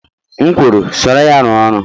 M kwuru, soro ya rụọ ọrụ!